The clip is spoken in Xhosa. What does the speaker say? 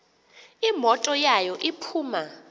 imoto yawo iphuma